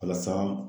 Walasa